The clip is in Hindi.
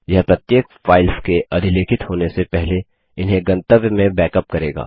यह प्रत्येक फाइल्स के अधिलेखित होने से पहले इन्हें गंतव्य में बैकअप करेगा